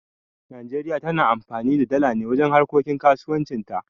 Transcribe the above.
Nijeriya tana amfani da dala ne wajen harkokin kasuwanci ta